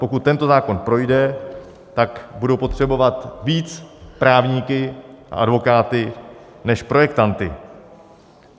Pokud tento zákon projde, tak budou potřebovat víc právníky a advokáty než projektanty.